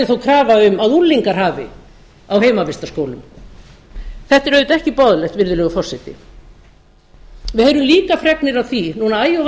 þó krafa um að unglingar hafi á heimavistarskólum þetta er auðvitað ekki boðlegt virðulegur forseti við heyrum auka fregnir af því núna æ ofan í